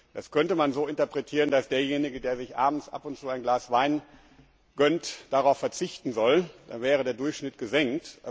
Das könnte man so interpretieren, dass derjenige, der sich abends ab und zu ein Glas Wein gönnt, darauf verzichten soll, dann wäre der Durchschnitt gesenkt.